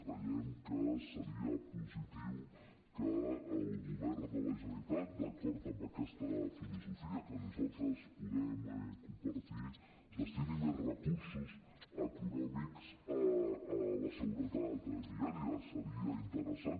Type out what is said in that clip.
creiem que seria positiu que el govern de la generalitat d’acord amb aquesta filosofia que nosaltres podem compartir destini més recursos econòmics a la seguretat viària seria interessant